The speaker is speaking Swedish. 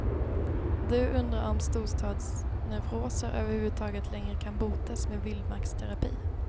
Du undrar om storstadsneuroser över huvud taget längre kan botas med vildmarksterapi.